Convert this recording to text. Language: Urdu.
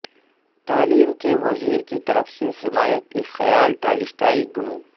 تعلیم کے وزیر کی طرف سے حمایت ایک خیال ٹالسٹائی گنو